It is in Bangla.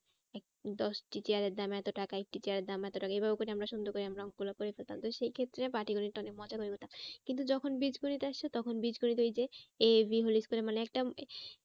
দশটি চেয়ারে দাম এতো টাকা একটি চেয়ারের দাম এত টাকা এভাবে করে আমরা সুন্দর করে আমরা অঙ্ক গুলো করে ফেলতাম। তো সেই ক্ষেত্রে পাটিগণিতটা অনেক মজা করে করতাম। কিন্তু যখন বীজগণিত আসছে তখন বীজগণিত ওই যে A B whole square মানে একটা